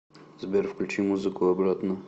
сбер включи музыку обратно